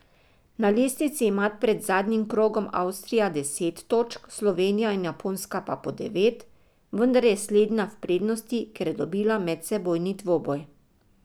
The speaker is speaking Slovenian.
Na lestvici ima pred zadnjim krogom Avstrija deset točk, Slovenija in Japonska pa po devet, vendar je slednja v prednosti, ker je dobila medsebojni dvoboj.